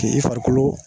K'i farikolo